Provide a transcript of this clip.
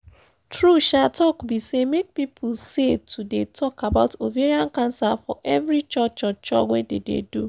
true um talk be say make people say to dey talk about ovarian cancer for every cho cho cho wey dey dey do